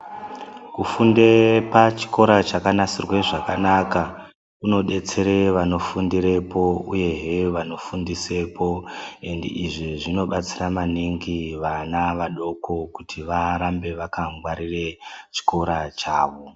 Kufunde pachikora chakanasirwe zvakanaka kunodetsere vanofundirepo uyehe vanofundisepo, Endi izvi zvinobatsira maningi vana vadoko kuti varambe vakangwarira chikora chavo.